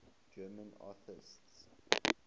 german atheists